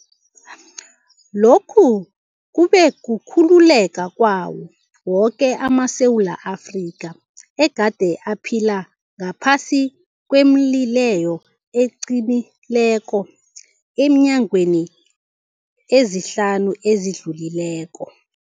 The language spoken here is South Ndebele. Lokhu kube kukhululeka kwawo woke amaSewula Afrika egade aphila ngaphasi kwemileyo eqinileko eenyangeni ezihlanu ezidlulileko.